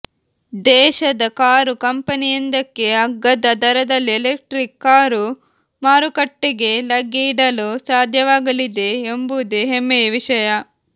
ದೇಶದ ಕಾರು ಕಂಪನಿಯೊಂದಕ್ಕೆ ಅಗ್ಗದ ದರದಲ್ಲಿ ಎಲೆಕ್ಟ್ರಿಕ್ ಕಾರು ಮಾರುಕಟ್ಟೆಗೆ ಲಗ್ಗೆಯಿಡಲು ಸಾಧ್ಯವಾಗಲಿದೆ ಎಂಬುದೇ ಹೆಮ್ಮೆಯ ವಿಷಯ